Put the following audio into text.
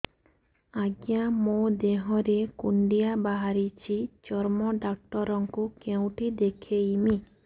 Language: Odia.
ଆଜ୍ଞା ମୋ ଦେହ ରେ କୁଣ୍ଡିଆ ବାହାରିଛି ଚର୍ମ ଡାକ୍ତର ଙ୍କୁ କେଉଁଠି ଦେଖେଇମି